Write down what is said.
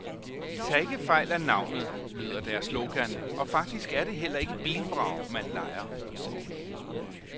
Tag ikke fejl af navnet lyder deres slogan, og faktisk er det heller ikke bilvrag, man lejer.